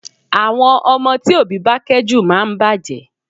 Àwọn ọmọ tí òbí bá kẹ́ jù máa ń bàjẹ́